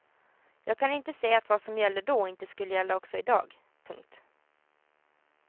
Jag kan inte se att vad som gällde då inte skulle gälla också i dag. punkt